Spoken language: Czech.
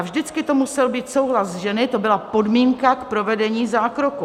A vždycky to musel být souhlas ženy, to byla podmínka k provedení zákroku.